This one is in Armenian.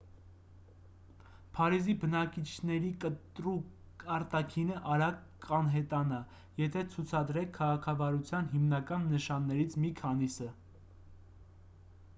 փարիզի բնակիչների կտրուկ արտաքինը արագ կանհետանա եթե ցուցադրեք քաղաքավարության հիմնական նշաններից մի քանիսը